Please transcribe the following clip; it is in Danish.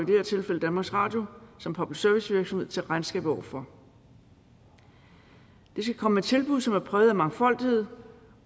det her tilfælde danmarks radio som public service virksomhed til regnskab for de skal komme med tilbud som er præget af mangfoldighed